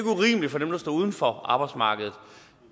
urimeligt for dem der står uden for arbejdsmarkedet